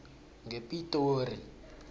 ngepitori